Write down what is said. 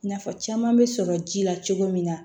Nafa caman bɛ sɔrɔ ji la cogo min na